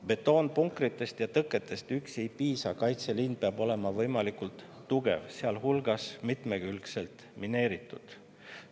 Betoonpunkritest ja tõketest üksi ei piisa, kaitseliin peab olema võimalikult tugev, sealhulgas mitmekülgselt mineeritud.